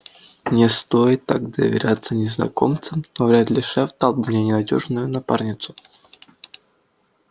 не стоит так доверяться незнакомцам но вряд ли шеф дал бы мне ненадёжную напарницу